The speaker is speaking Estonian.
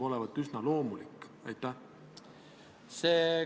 Rohkem küsimusi teile ei ole.